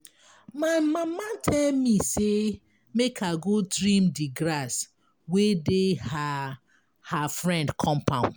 My mama tell me say make I go trim di grass wey dey her her friend compound.